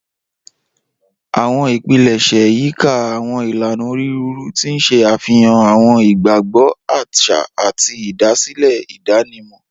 Awọn ipilẹṣẹ yika awọn ilana oniruuru, ti n ṣe afihan awọn igbagbọ aṣa ati idasile idanimọ.